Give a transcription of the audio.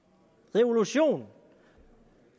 revolution